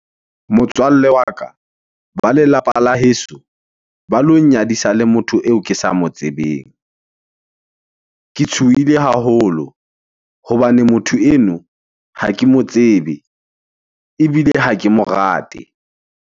Motswalle wa ka, ba lelapa la heso ba lo nnyadisa le motho eo ke sa mo tsebeng. Ke tshohile haholo hobane motho eno ha ke mo tsebe ebile ha ke mo rate.